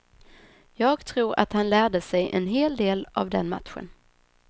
Jag tror att han lärde sig en hel del av den matchen.